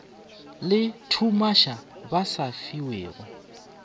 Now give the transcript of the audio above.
le lethumaša ba sa fiwego